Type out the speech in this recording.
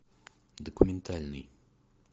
документальный